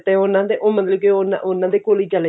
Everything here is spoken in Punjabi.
ਤੇ ਉਹਨਾਂ ਦੇ ਤੇ ਮਤਲਬ ਕਿ ਉਹਨਾਂ ਦੇ ਕੋਲ ਹੀ ਚੱਲ